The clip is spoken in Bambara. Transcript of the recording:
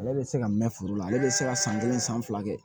Ale bɛ se ka mɛn foro la ale bɛ se ka san kelen san fila kɛ